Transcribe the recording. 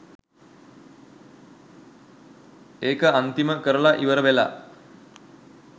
ඒක අන්තිම කරල ඉවර වෙලා